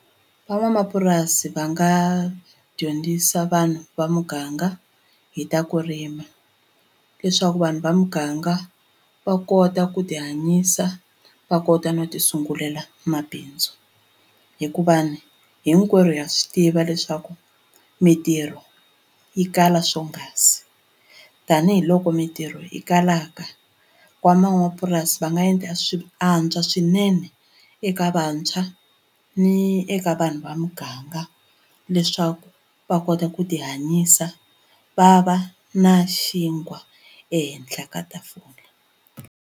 Van'wamapurasi va nga dyondzisa vanhu va muganga hi ta ku rima leswaku vanhu va muganga va kota ku ti hanyisa va kota no ti sungulela mabindzu hikuva ni hinkwerhu ha swi tiva leswaku mintirho yi kala swonghasi tanihiloko mintirho yi kalaka van'wamapurasi va nga endla swi antswa swinene swinene eka vantshwa ni eka vanhu va muganga leswaku va kota ku ti hanyisa va va na xinkwa ehenhla ka tafula.